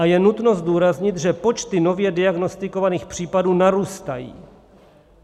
A je nutno zdůraznit, že počty nově diagnostikovaných případů narůstají.